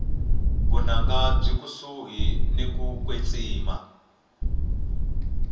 vunanga byile kusuhi niku kwetsima